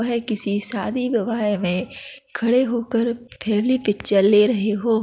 वह किसी शादी विवाह में खड़े होकर फैमिली पिक्चर ले रहे हो--